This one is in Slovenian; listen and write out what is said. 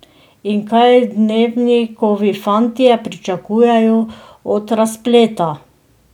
In kaj Dnevnikovi fantje pričakujejo od razpleta?